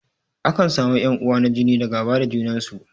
Akan samu ƴan uwa na jini da gaba da junan su.